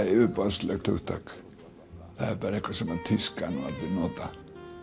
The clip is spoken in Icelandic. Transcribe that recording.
yfirborðslegt hugtak það er eitthvað sem tískan og allir nota